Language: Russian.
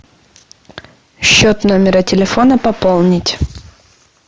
счет номера телефона пополнить